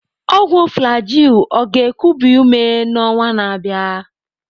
Ọgwụ Flagyl ọ ga-ekubi ume n'ọnwa na-abịa?